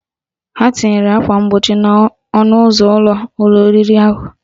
Ha tinyere akwa mgbochi n'ọnụ ụzọ ụlọ oriri ahụ